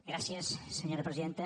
gràcies senyora presidenta